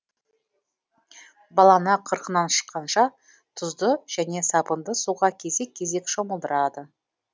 баланы қырқынан шыққанша тұзды және сабынды суға кезек кезек шомылдырады